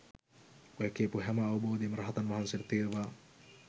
ඔය කියපු හැම අවබෝධයම රහතන් වහන්සේට තියෙනවා